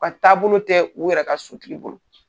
taabolo tɛ u yɛrɛ ka sotigi bolo.